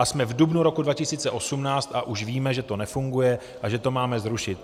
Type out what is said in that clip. A jsme v dubnu roku 2018 a už víme, že to nefunguje a že to máme zrušit.